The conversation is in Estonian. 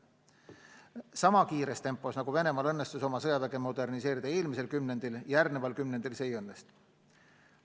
Sama kiires tempos, nagu Venemaal õnnestus oma sõjaväge moderniseerida eelmisel kümnendil, järgmisel kümnendil see ei õnnestu.